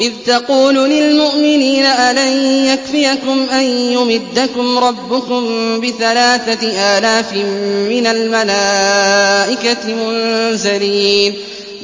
إِذْ تَقُولُ لِلْمُؤْمِنِينَ أَلَن يَكْفِيَكُمْ أَن يُمِدَّكُمْ رَبُّكُم بِثَلَاثَةِ آلَافٍ مِّنَ الْمَلَائِكَةِ مُنزَلِينَ